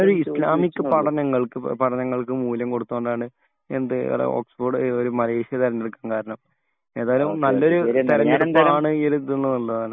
ഞാനൊരു ഇസ്ലാമിക് പഠനങ്ങൾക്ക് പഠനങ്ങൾക്ക് മൂല്യം കൊടുക്കുന്നത് കൊണ്ടാണ് എന്ത് ഓക്സ്ഫോർഡ് മലേഷ്യ തിരഞ്ഞെടുക്കാൻ കാരണം. ഏതായാലും നല്ലൊരു തെരഞ്ഞെടുപ്പാണ് ഈ ഒരു ഇത് എന്നുള്ളതാണ്